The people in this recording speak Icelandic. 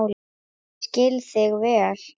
Ég skil þig vel.